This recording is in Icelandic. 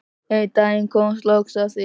Einn daginn kom loks að því.